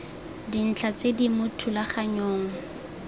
dintlha tse di mo thulaganyong